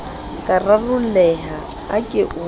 ka rarolleha a ke o